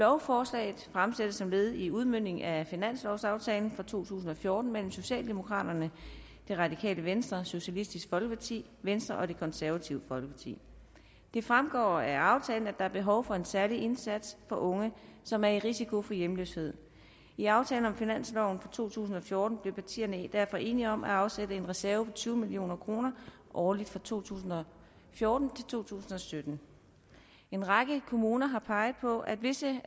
lovforslaget fremsættes som led i udmøntningen af finanslovsaftalen for to tusind og fjorten mellem socialdemokraterne det radikale venstre socialistisk folkeparti venstre og det konservative folkeparti det fremgår af aftalen at der er behov for en særlig indsats for unge som er i risiko for hjemløshed i aftalen om finansloven for to tusind og fjorten blev partierne derfor enige om at afsætte en reserve på tyve million kroner årligt fra to tusind og fjorten til to tusind og sytten en række kommuner har peget på at visse